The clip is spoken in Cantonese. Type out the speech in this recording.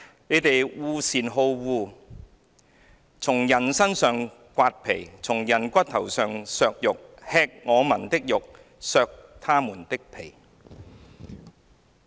你們惡善好惡，從人身上剝皮，從人骨頭上剔肉；吃我民的肉，剝他們的皮"。